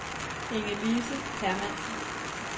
Inge-Lise Hermansen